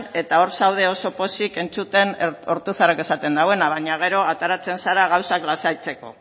eta hor zaude oso pozik entzuten ortuzarrek esaten dauena baina gero ateratzen zara gauzak lasaitzeko